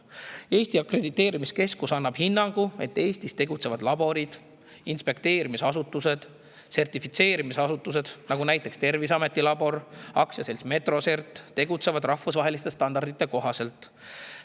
Eesti Akrediteerimiskeskus annab hinnangu, et Eestis tegutsevad laborid, inspekteerimisasutused ning sertifitseerimisasutused, nagu Terviseameti labor ja AS Metrosert, tegutsevad rahvusvaheliste standardite kohaselt.